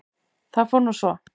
Það fór nú svo.